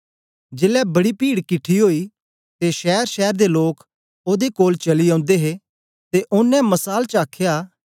जेलै बड़ी पीड किठी ओई ते शैरशैर दे लोक ओदे कोल चली औंदे हे ते ओनें मसाल च आख्या